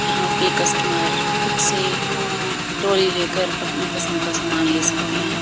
यहां पे कस्टमर खुद से टोली लेकर अपनी पसंद का सामान ले सकते हैं।